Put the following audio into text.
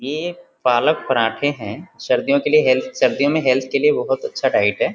ये पालक पराठे है सर्दियों के लिए हेल्थ सर्दियों मे हेल्थ के लिए बहुत अच्छा डाइट है।